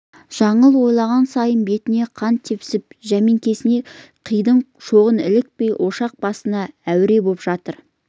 жаңыл ойлаған сайын бетіне қан тепсініп жәмкесіне қидың шоғы ілікпей ошақ басында әуре боп жатыр